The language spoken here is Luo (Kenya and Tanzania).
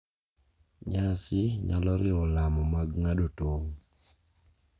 Nyasi nyalo riwo lamo mag ng`ado tong'.